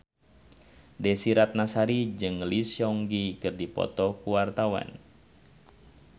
Desy Ratnasari jeung Lee Seung Gi keur dipoto ku wartawan